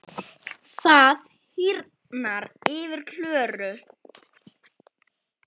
Það hýrnar yfir Klöru.